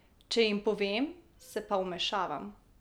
Če jim povem, se pa vmešavam.